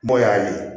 Bon y'a ye